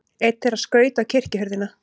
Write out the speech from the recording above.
Einn þeirra skaut á kirkjuhurðina.